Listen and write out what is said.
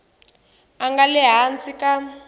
a nga le hansi ka